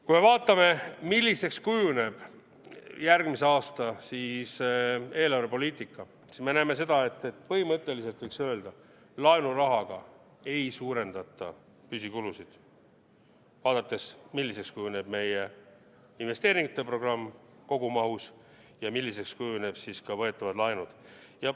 Kui me vaatame, milliseks kujuneb järgmise aasta eelarvepoliitika, siis me näeme seda, et põhimõtteliselt võiks öelda: laenurahaga ei suurendata püsikulusid, vaadates, milliseks kujuneb meie investeeringute programm kogumahus ja milliseks kujunevad ka võetavad laenud.